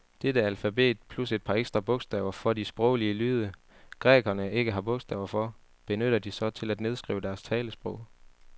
Dette alfabet, plus et par ekstra bogstaver for de sproglige lyde, grækerne ikke har bogstaver for, benytter de så til at nedskrive deres talesprog.